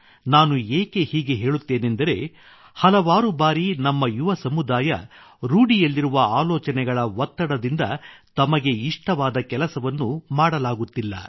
ನಾನು ಏಕೆ ಹೀಗೆ ಹೇಳುತ್ತೇನೆಂದರೆ ಹಲವಾರು ಬಾರಿ ನಮ್ಮ ಯುವಕರು ರೂಢಿಯಲ್ಲಿರುವ ಆಲೋಚನೆಗಳ ಒತ್ತಡದಿಂದ ತಮಗೆ ಇಷ್ಟವಾದ ಕೆಲಸವನ್ನು ಮಾಡಲಾಗುತ್ತಿಲ್ಲ